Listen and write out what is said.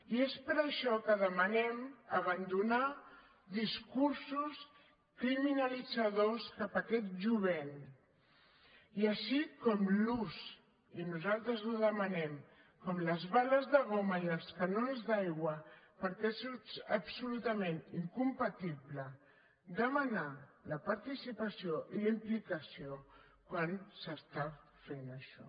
i és per això que demanem abandonar discursos criminalitzadors cap aquest jovent i així com l’ús i nosaltres ho demanem de les bales de goma i els canons d’aigua perquè és absolutament incompatible demanar la participació i la implicació quan s’està fent això